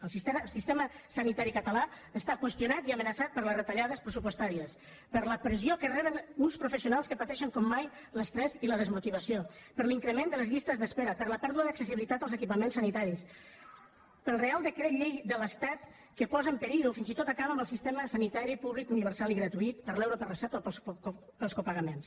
el sistema sanitari català està qüestionat i amenaçat per les retallades pressupostàries per la pressió que reben uns professionals que pateixen com mai l’estrès i la desmotivació per l’increment de les llistes d’espera per la pèrdua d’accessibilitat als equipaments sanitaris pel reial decret llei de l’estat que posa en perill o fins i tot acaba amb el sistema sanitari públic universal i gratuït per l’euro per recepta o pels copagaments